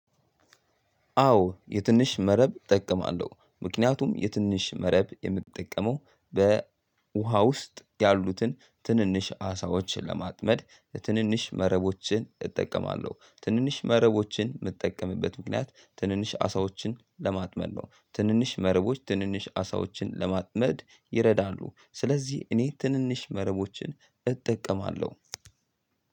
አዎ የትንሽ መረብ እጠቀማለሁ፤ ምክንያቱም የትንሽ መረብ የምትጠቀመው በውሃ ውስጥ ያሉትን ትንንሽ አሳዎችን ለማጥመድ፤ ትንንሽ መረቦችን እጠቀማለሁ። ትንንሽ መረቦችን የምትጠቀምበት ምክንያት ትንንሽ አሳዎችን ለማጥመድ ነው ትንንሽ መረቦች ትንንሽ አሳዎችን ለማጥመድ ይረዳሉ። ስለዚህ እኔ ትንንሽ መረቦችን እጠቀማለሁ።